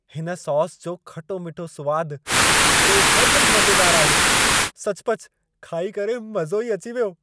हिन सॉस जो खटो-मिठो सुवाद बेहदु मज़ेदारु आहे। सचुपचु खाई करे मज़ो ई अची वियो!